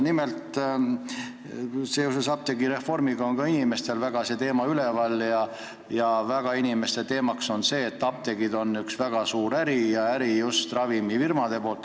Nimelt, apteegireformiga seoses on ka inimestel see teema mõttes ja küsimus on selles, et apteegid on üks suur äri, just ravimifirmade äri.